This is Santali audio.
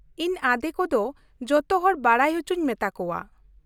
ᱤᱧ ᱟᱸᱫᱮ ᱠᱚ ᱫᱚ ᱡᱚᱛᱚ ᱦᱚᱲ ᱵᱟᱰᱟᱭ ᱚᱪᱚᱧ ᱢᱮᱛᱟ ᱠᱚᱣᱟ ᱾